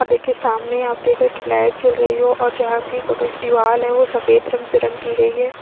यहाँ देखिये सामने आप देख रहे है यह पे लाइट जल रही है और जहा की बगल की दिवार हैं जो सफ़ेद रंग से रंग की गयी है। --